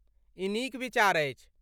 ई नीक विचार अछि।